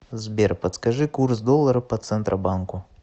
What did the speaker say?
сбер подскажи курс доллара по центробанку